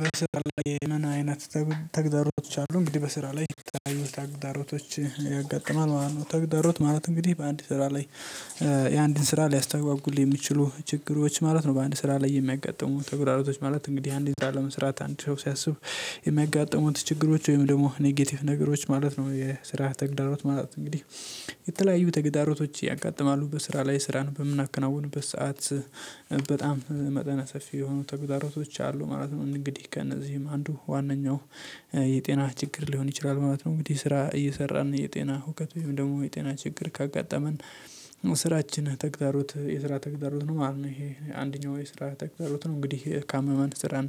በስራ ላይ ምን አይነት ተግዳሮች አሉ? እንግዲህ በስራ ላይ የተለያዩ ተግዳሮቶች ያጋጥማል ማለት ነው። ተግዳሮት ማለት እንግዲህ በአንድ ስራ ላይ የአንድን ስራ ሊያስተጓጉል የሚችሉ ችግሮች ማለት ነው። በአንድ ስራ ላይ የሚያጋጥሙ ተግዳሮቶች ማለት እንግዲህ አንድ ስራ ለመስራት አንድ ሰው ሲያስብ የሚያጋጥሙት ችግሮች ወይም ደግሞ ኔጌቲቭ ነገሮች ማለት ነው። የስራ ተግዳሮት ማለት እንግዲህ የተለያዩ ተግዳሮቶች ያጋጥማሉ በስራ ላይ ስራን በምናከናውንበት ሰዓት በጣም መጠነ ሰፊ የሆኑ ተግዳሮቶች አሉ ማለት እንግዲህ ከእነዚህም አንዱ ዋነኛው የጤና ችግር ሊሆን ይችላል ማለት ነው። እንግዲህ ስራ እየሰራን የጤና ሁከት ወይም ደግሞ የጤና ችግር ካጋጠመን ስራችን ተግዳሮት የስራ ተግዳሮት ነው ማለት ነው። ይሄ አንደኛው የስራ ተግዳሮት ነው እንግዲህ ካመመን ስራን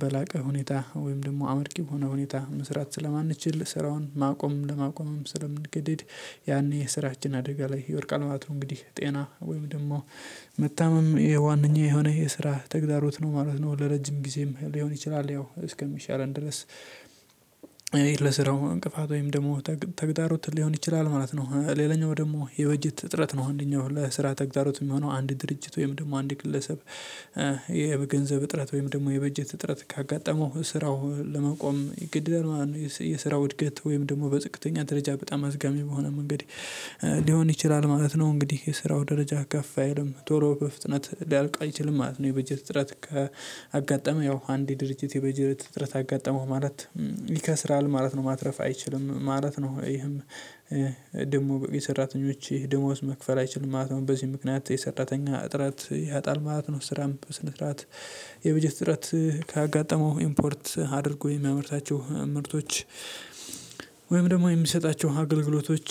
በላቀ ሁኔታ ወይም ደግሞ አመርቂ በሆነ ሁኔታ መስራት ስለማንችል ስራውን ማቆም ለማቆምም ስለምንገድድ ያኔ የስራችን አደጋ ላይ ይወድቃል ማለት ነው። እንግዲህ ጤና ወይም ደግሞ መታመም የዋነኛ የሆነ የስራ ተግዳሮት ነው ማለት ነው። ለረጅም ጊዜም ሊሆን ይችላል ያው እስከሚሻለን ድረስ በስራው እንቅፋት ወይም ደግሞ ተግዳሮት ሊሆን ይችላል ማለት ነው። ሌላኛው ደግሞ የበጀት እጥረት ነው አንደኛው ለስራ ተግዳሮት የሚሆነው አንድ ድርጅት ወይም ደግሞ አንድ ግለሰብ የገንዘብ እጥረት ወይም ደግሞ የበጀት እጥረት ካጋጠመው ስራው ለመቆም ይገደዳል። ማለት ነው የስራው እድገት ወይም ደግሞ በዝቅተኛ ደረጃ በጣም አዝጋሚ በሆነ መንገድ ሊሆን ይችላል ማለት ነው። እንግዲህ የስራው ደረጃ ከፍ አይልም ቶሎ በፍጥነት ሊያልቅ አይችልም ማለት ነው። የበጀት እጥረት ከአጋጠመ ያው አንድ የድርጅት የበጀት እጥረት አጋጠመው ማለት ይከስራል ማለት ነው ማትረፍ አይችልም ማለት ነው። ይሄም ደግሞ የሰራተኞች ደሞዝ መክፈል አይችልም ማለት ነው በዚህ ምክንያት የሰራተኛ እጥረት ያጣል ማለት ነው። ስራም በስነ ስርዓት የበጀት ስርዓት ካጋጠመው ኢምፖርት አድርጎ የሚያመርታቸው ምርቶች ወይም ደግሞ የሚሰጣቸው አገልግሎቶች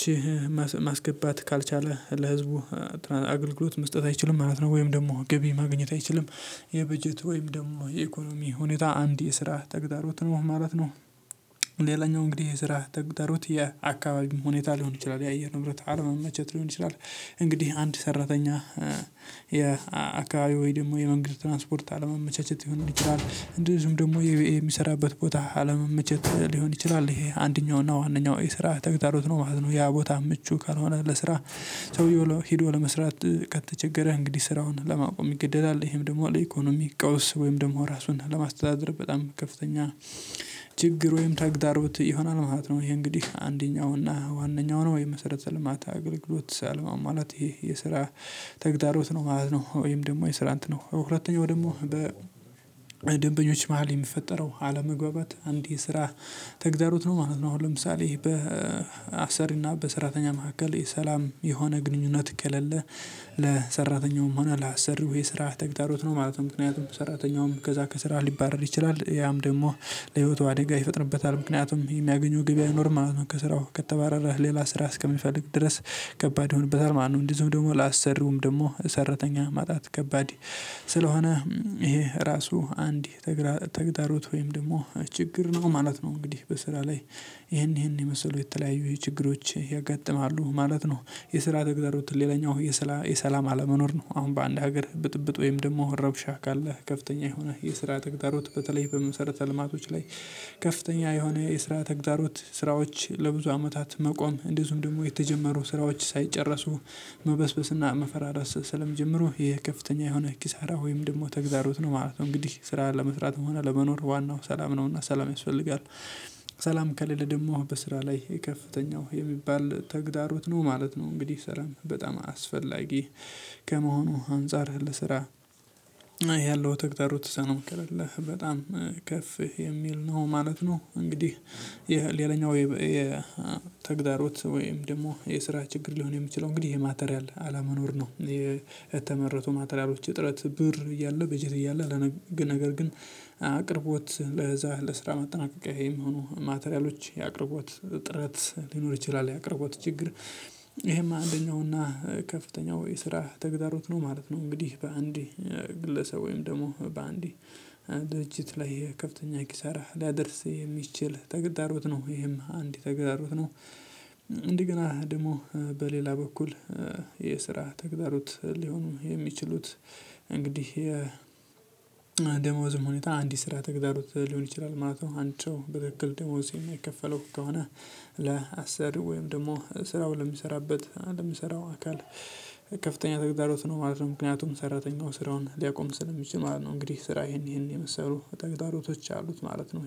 ማስገባት ካልቻለ ለህዝቡ አገልግሎት መስጠት አይችልም ማለት ነው። ወይም ደግሞ ገቢ ማግኘት አይችልም የበጀት ወይም ደግሞ የኢኮኖሚ ሁኔታ አንድ የስራ ተግዳሮት ነው ማለት ነው። ሌላኛው እንግዲህ የስራ ተግዳሮት የአካባቢ ሁኔታ ሊሆን ይችላል የአየር ንብረት አለመመቸት ሊሆን ይችላል እንግዲህ አንድ ሰራተኛ የአካባቢው ወይ ደግሞ የመንግስት ትራንስፖርት አለመመቻቸት ሊሆን ይችላል። እንደዚሁም ደግሞ የቢኤ የሚሰራበት ቦታ አለመመቸት ሊሆን ይችላል ይሄ አንደኛው እና ዋነኛው የስራ ተግዳሮት ነው ማለት ነው። ያ ቦታ ምቹ ካልሆነ ለስራ ሰውየው ሂዶ ለመስራት ከተቸገረህ እንግዲህ ስራውን ለማቆም ይገደዳል ይሄም ደግሞ ለኢኮኖሚ ቀውስ ወይም ደግሞ ራሱን ለማስተዳደር በጣም ከፍተኛ ችግር ወይም ተግዳሮት ይሆናል ማለት ነው። ይሄ እንግዲህ አንደኛው ዋነኛው ነው የመሰረተ ልማት አገልግሎት ሳልማው ማለት ይህ የስራ ተግዳሮት ነው ማለት ነው። ወይም ደግሞ የስራ እንትን ነው ሁለተኛው ደግሞ በደንበኞች መሃል የሚፈጠረው አለመግባባት አንድ የስራ ተግዳሮት ነው ማለት ነው። አሁን ለምሳሌ በአሰሪና በሰራተኛ መካከል የሰላም የሆነ ግንኙነት ከሌለ ለሰራተኛውም ሆነ ላሰሪው የስራ ተግዳሮት ነው ማለትም ምክንያቱም ሰራተኛውም ከዛ ከስራ ሊባረር ይችላል ያም ደግሞ ለህይወቱ አደጋ ይፈጥርበታል ምክንያቱም የሚያገኘው ገቢ አይኖርም ማለት ነው። ከስራው ከተባረረ ሌላ ስራ እስከሚፈልግ ድረስ ከባድ ይሆንበታል ማለት ነው። እንደዚሁ ደግሞ ላሰሪውም ደግሞ ሰራተኛ ማጣት ከባድ ስለሆነ ይሄ ራሱ አንድ ተግዳሮት ወይም ደግሞ ችግር ነው ማለት ነው። እንግዲህ በስራ ላይ ይሄን ይሄን የመሰሉ የተለያዩ ችግሮች ያጋጥማሉ ማለት ነው። የስራ ተግዳሮት ሌላኛው የሰላም አለመኖር ነው አሁን በአንድ ሀገር ብጥብጥ ወይም ደግሞ ረብሻ ካለህ ከፍተኛ የሆነ የስራ ተግዳሮት በተለይ በመሰረተ ልማቶች ላይ ከፍተኛ የሆነ የስራ ተግዳሮት ስራዎች ለብዙ አመታት መቆም እንደዚሁም ደግሞ የተጀመሩ ስራዎች ሳይጨረሱ መበስበስና መፈራረስ ስለሚጀምሩ የከፍተኛ የሆነ ኪሳራ ወይም ደግሞ ተግዳሮት ነው ማለት ነው። እንግዲህ ስራ ለመስራት ሆነ ለመኖር ዋናው ሰላም ነውና ሰላም ያስፈልጋል ሰላም ከሌለ ደግሞ በስራ ላይ የከፍተኛው የሚባል ተግዳሮት ነው ማለት ነው። እንግዲህ ሰላም በጣም አስፈላጊ ከመሆኑ አንፃርህ ለስራ ያለው ተግዳሮተ ሰላም ከሌለ በጣም ከፍ የሚል ነው ማለት ነው። እንግዲህ ሌላኛው የተግዳሮት ወይም ደግሞ የስራ ችግር ሊሆን የሚችለው እንግዲህ የ ማቴሪያል አለመኖር ነው። የተመረቱ ማቴሪያሎች እጥረት ብር እያለ በጀት እያለ ነገር ግን አቅርቦት ለዛ ለስራ ማጠናቀቂያ የሚሆኑ ማቴሪያሎች የአቅርቦት ጥረት ሊኖር ይችላል ያቅርቦት ችግር ይሄማ አንደኛውና ከፍተኛው የስራ ተግዳሮተ ነው ማለት ነው። እንግዲህ በአንድ ግለሰብ ወይም ደግሞ በአንድ ድርጅት ላይ ከፍተኛ ኪሳራ ሊያደርስ የሚችል ተግዳሮት ነው ይሄም አንድ ተግዳሮት ነው። እንደገና ደግሞ በሌላ በኩል የስራ ተግዳሮት ሊሆኑ የሚችሉት እንግዲህ የደሞዝም ሁኔታ አንድ የስራ ተግዳሮት ሊሆን ይችላል ማለት ነው። አንድ ሰው በትክክል ደሞዝ የማይከፈለው ከሆነ ለአስሪው ወይም ደግሞ ስራው ለሚሰራበት ለሚሰራው አካል ከፍተኛ ተግዳሮት ነው ማለት ነው። ምክንያቱም ሰራተኛው ስራውን ሊያቆም ስለሚችል ማለት ነው። እንግዲህ ስራ ይሄን ይሄን የመሰሉ ተግዳሮቶች አሉት ማለት ነው